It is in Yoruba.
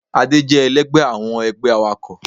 Adé jé èlẹgbẹ́ awọn ẹgbẹ́ àwákọ